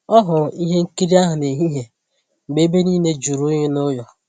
Ọ hụrụ ihe nkiri ahụ n'ehihie mgbe ebe niile jụrụ oyi n'ụlọ